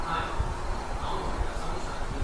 हाय, हांव नोयडासावन शालिनी.